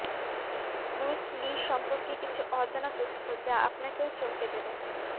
Bruce Lee সম্পর্কে কিছু অজানা তথ্য যা আপনাকেও চমকে দেবে